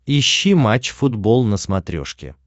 ищи матч футбол на смотрешке